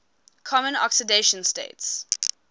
common oxidation states